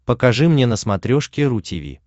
покажи мне на смотрешке ру ти ви